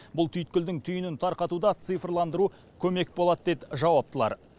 бұл түйткілдің түйінін тарқатуда цифрландыру көмек болады дейді жауаптылар